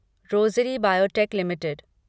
rosary biotech limited